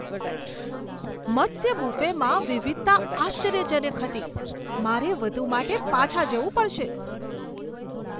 મત્સ્ય બુફેમાં વિવિધતા આશ્ચર્યજનક હતી! મારે વધુ માટે પાછા જવું પડશે.